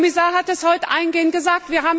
Der Kommissar hat das heute eingehend gesagt.